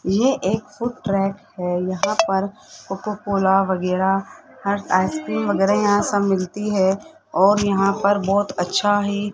ये एक foot track है यहां पर कोका कोला वगैरा हर आइसक्रीम वगैरा यहां सब मिलती है और यहां पर बहोत अच्छा है।